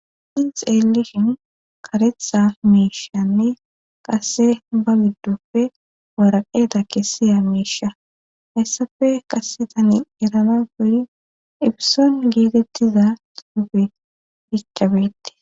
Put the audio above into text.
Issi elishin karetha miishanne qasse ba giddufe waraqeeta kessiya miisha hayssafe kasetani erana goli ipison geetettiza tuufe bicchabeette.